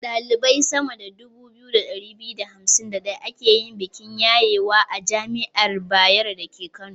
Ɗalibai sama da 2251 aka yi bikin yayewa a jami'ar Bayero dake Kano.